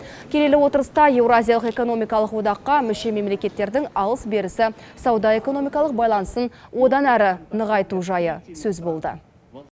келелі отырыста еуразиялық экономикалық одаққа мүше мемлекеттердің алыс берісі сауда экономикалық байланысын одан әрі нығайту жайы сөз болды